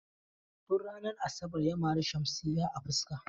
Tun ranar asabar ya mare Shamsiyya a fuska.